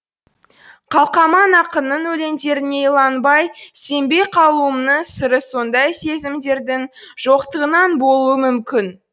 қалқаман ақынның өлеңдеріне иланбай сенбей қалуымның сыры сондай сезімдердің жоқтығынан болуы мүмкін